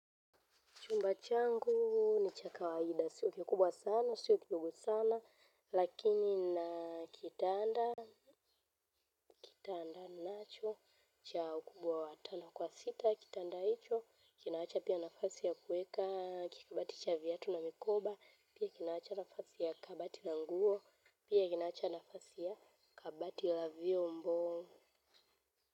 Chumba changu ni cha kawaida, sio kikubwa sana, sio kidogo sana, lakini nina kitanda, kitanda nacho, cha ukubwa watano kwa sita, kitanda hicho, kinaacha pia nafasi ya kueka, kikabati cha viatu na mikoba, pia kinaacha nafasi ya kabati na nguo, pia kinaacha nafasi ya kabati la viombo.